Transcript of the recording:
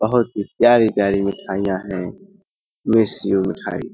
बहुत ही प्यारी-प्यारी मिठाइयां हैं। मिस यू मिठाई ।